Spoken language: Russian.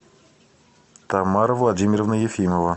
тамара владимировна ефимова